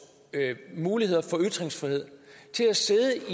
muligheder for ytringsfrihed til at sidde